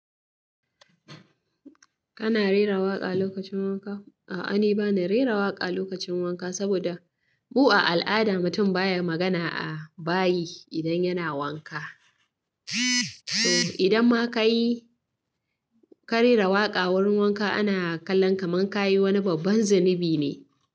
Kana rera waƙa lokacin wanka? A'a, ni bana rera waƙa lokacin wanka, saboda mu a al'ada mutum baya magana a bayi, idan yana wanka. To idan ma ka yi, ka rera waƙa wurin wanka ana kallon ka man ka yi wani babban zunubi ne.